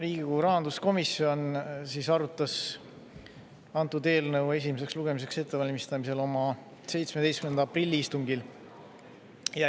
Riigikogu rahanduskomisjon arutas antud eelnõu esimeseks lugemiseks ettevalmistamisel oma 17. aprilli istungil.